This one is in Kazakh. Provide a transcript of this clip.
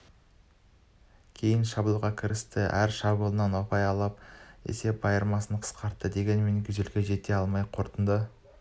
кейін шабуылға кірісті әр шабуылынан ұпай алып есеп айырмасын қысқартты дегенмен гюзельге жете алмады қорытынды